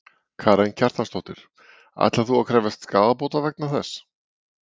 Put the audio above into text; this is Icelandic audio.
Karen Kjartansdóttir: Ætlar þú að krefjast skaðabóta vegna þessa?